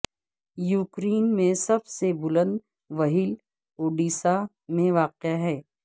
Ukraine میں سب سے بلند وہیل وڈیسا میں واقع ہیں